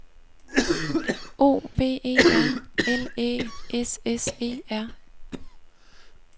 O V E R L Æ S S E R